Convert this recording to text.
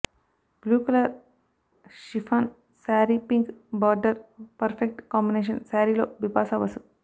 blue colour chiffon sari pink border perfect combination శారీలో Bipasha bus